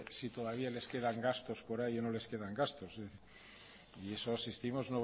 si todavía les quedan gastos por ahí o no les quedan gastos